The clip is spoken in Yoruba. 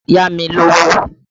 Yá mi lówó!